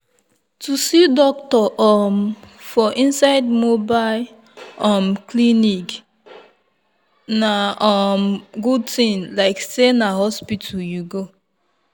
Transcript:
to see doctor um for inside mobile um clinic na um good thing like say na hospital you go.